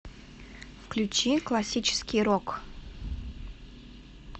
включи классический рок